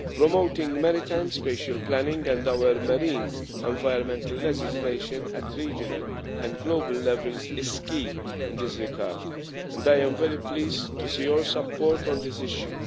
Promoting maritime spatial planning and our marine environmental legislation at regional and global level is key in this regard, and I am very pleased to see your support on this issue.